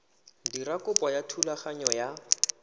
dira kopo ya thulaganyo ya